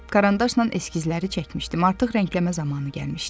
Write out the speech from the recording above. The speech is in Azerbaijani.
Qarandaşla eskizləri çəkmişdim, artıq rəngləmə zamanı gəlmişdi.